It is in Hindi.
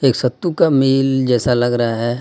एक सत्तू का मिल जैसा लग रहा हे.